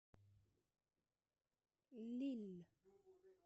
лилль